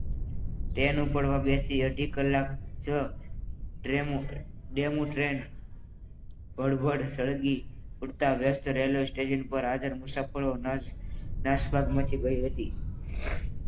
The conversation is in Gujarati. ટ્રેન ઉપાડવાની હતી અઢી કલાક જ ડેમો ટ્રેન ભડભડ સળગી ઉઠતા વેસ્ટ રેલવે સ્ટેશન ઉપર હાજર મુસાફરો નાસભાગ મચી ગઈ હતી.